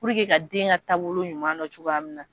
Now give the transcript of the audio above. ka den ka taabolo ɲuman dɔn cogoya min na